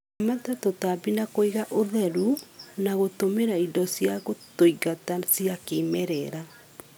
Ramata tũtambi na kuiga ũtheru na gũtũmĩra indo cia gũtũingata cia kĩmerera